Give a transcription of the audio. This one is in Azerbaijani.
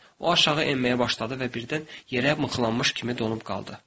O aşağı enməyə başladı və birdən yerə mıxlanmış kimi donub qaldı.